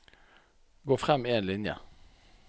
Gå frem én linje